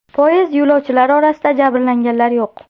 Poyezd yo‘lovchilari orasida jabrlanganlar yo‘q.